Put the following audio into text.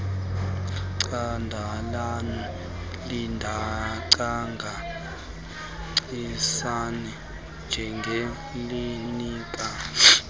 candela lingangacacisi njengelinika